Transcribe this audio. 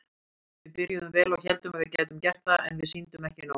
Við byrjuðum vel og héldum að við gætum gert það en við sýndum ekki nóg.